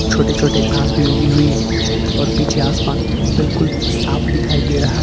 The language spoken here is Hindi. छोटे छोटे घास भी उगी हुई है और पीछे आसमान बिल्कुल साफ दिखाई दे रहा है।